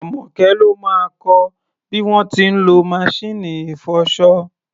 Àmọ́kẹ́ ló máa kọ bí wọ́n ti ń lọ maṣíìnì ìfọṣọ.